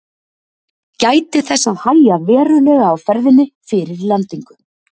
Gætið þess að hægja verulega á ferðinni fyrir lendingu.